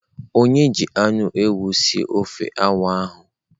Onye ji anu ewu sie ofe awa ahu?